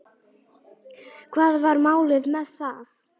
Hvað var málið með það?